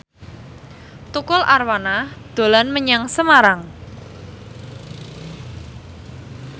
Tukul Arwana dolan menyang Semarang